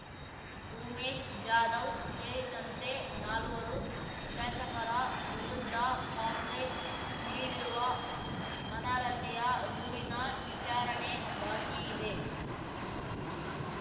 ಉಮೇಶ್ ಜಾಧವ್ ಸೇರಿದಂತೆ ನಾಲ್ವರು ಶಾಸಕರ ವಿರುದ್ಧ ಕಾಂಗ್ರೆಸ್ ನೀಡಿರುವ ಅರ್ನಹತೆಯ ದೂರಿನ ವಿಚಾರಣೆ ಬಾಕಿ ಇದೆ